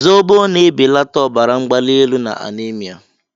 Zóbó na-èbelata ọbara mgbali élù na anémia